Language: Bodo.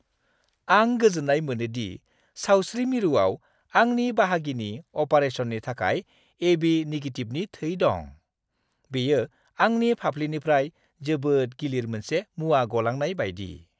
आं गोजोन्नाय मोनो दि सावस्रि मिरुआव आंनि बाहागिनि अपारेशननि थाखाय ए.बि. निगेटिभनि थै दं। बेयो आंनि फाफ्लिनिफ्राय जोबोद गिलिर मोनसे मुवा गलांनाय बायदि।